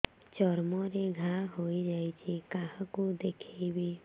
ଚର୍ମ ରେ ଘା ହୋଇଯାଇଛି କାହାକୁ ଦେଖେଇବି